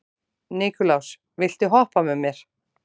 Nikulás, viltu hoppa með mér?